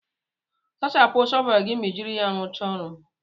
Sachapụ shọvelu gị ma ị jiri ya rụcha ọrụ